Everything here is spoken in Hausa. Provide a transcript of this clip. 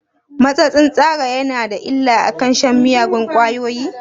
Matsatsin tsara yana da illa akan shan miyagun ƙwayoyi?